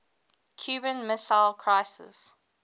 cuban missile crisis